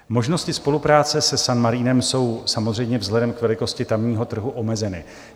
Možnosti spolupráce se San Marinem jsou samozřejmě vzhledem k velikosti tamního trhu omezeny.